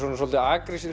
svolítið